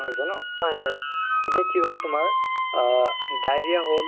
যে তুমি health ৰ বিষয়ে but health ত কৰি আছা বা PSC ত কৰি আছা হয়নে নাই